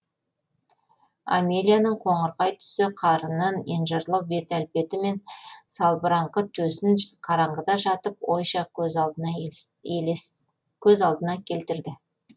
амелияның қоңырқай түсті қарынын енжарлау бет әлпеті мен салбыраңқы төсін қараңғыда жатып ойша көз алдына келтірді